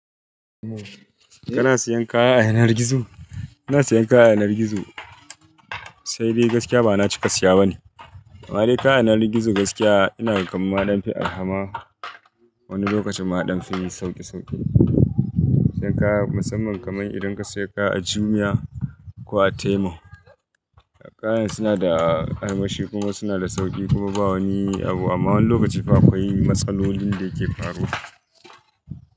Kana siyan kaya a yanar gizo? Ina siyan kaya a yanar gizo, sai dai gaskiya ba na cika siya bane. Amma dai kaya a yanar gizo gaskiya ina gamaɗan fin alhamar. Wani lokacin ma ɗan fimin sauƙe sauƙe. Siyan kaya musamman kamar idan ka siya kaya a Jumia ko a Temu, kayan suna da ƙaimashi kuma suna da sauƙi kuma ba wani abu. Amma wani lokaci fa akwai matsalolin da ke faruwa.